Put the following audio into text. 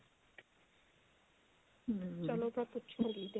ਚੱਲੋ ਮੈਂ ਪੁੱਛ ਲੂੰਗੀ